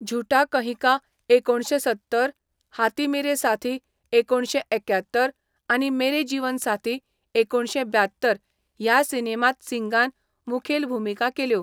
झूटा कहीं का, एकुणशें सत्तर, हाथी मेरे साथी, एकुणशे एक्यात्तर आनी मेरे जीवन साथी, एकुणशें ब्यात्तर ह्या सिनेमांत सिंगान मुखेल भुमिका केल्यो.